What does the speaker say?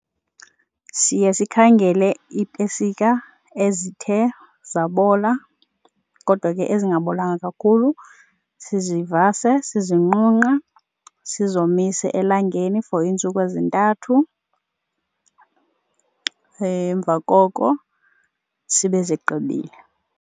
Siye sikhangele iipesika ezithe zabola kodwa ke ezingabolanga kakhulu sizivase, sizinqunqe, sizomise elangeni for iintsuku ezintathu, emva koko sibe sigqibile.